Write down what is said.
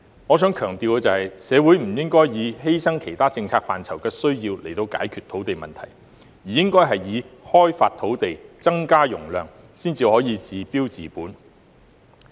我想強調，社會不應以犧牲其他政策範疇的需要，作為解決土地問題的方法，而是應該開發土地、增加容量，這樣才可以治標治本。